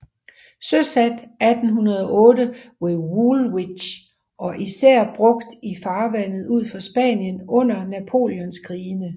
Søsat 1808 ved Woolwich og især brugt i farvandet ud for Spanien under Napoleonskrigene